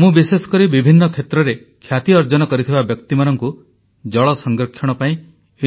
ମୁଁ ବିଶେଷକରି ବିଭିନ୍ନ କ୍ଷେତ୍ରରେ ଖ୍ୟାତି ଅର୍ଜନ କରିଥିବା ବ୍ୟକ୍ତିମାନଙ୍କୁ ଜଳ ସଂରକ୍ଷଣ ପାଇଁ